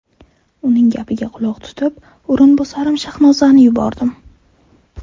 Uning gapiga quloq tutib, o‘rinbosarim Shahnozani yubordim.